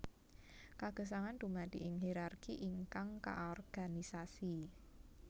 Kagesangan dumadi ing hirarki ingkang kaorganisasi